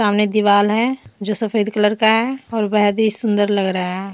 सामने दीवाल है जो सफेद कलर का है और बहुत ही सुंदर लग रहा है ।